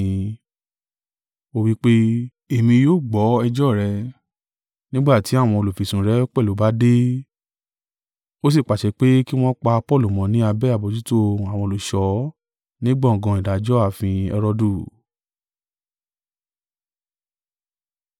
Ó wí pé, “Èmi yóò gbọ́ ẹjọ́ rẹ, nígbà tí àwọn olùfisùn rẹ pẹ̀lú bá dé.” Ó sì pàṣẹ pé kí wọn pa Paulu mọ́ ní abẹ́ àbojútó àwọn olùṣọ́ ní gbọ̀ngàn ìdájọ́ ààfin Herodu.